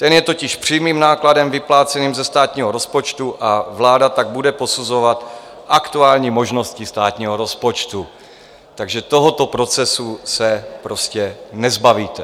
Ten je totiž přímým nákladem vypláceným ze státního rozpočtu a vláda tak bude posuzovat aktuální možnosti státního rozpočtu, takže tohoto procesu se prostě nezbavíte.